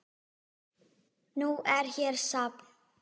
Nú er hér safn.